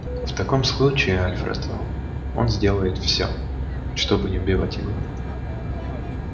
в таком случае альфред он сделает все чтобы не убивать его